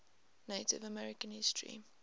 native american history